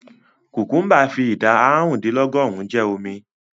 Kùkúḿbà fi ìdá àrùndínlọ́gọ́rùn-ún jẹ́ omi.